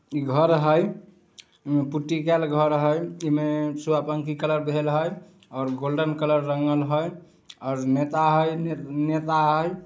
इ घर है पुट्टी कायल घर है इ मे सुगा पंखी कलर भेल है और गोल्डन कलर रंगल हई और नेता हई नेता हई।